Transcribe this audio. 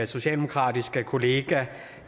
socialdemokratiske kollega